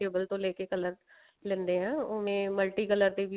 vegetable ਤੋਂ ਲੇਕੇ color ਲੈਣੇ ਹਾਂ ਇਹ main multi color